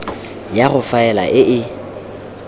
ya go faela e e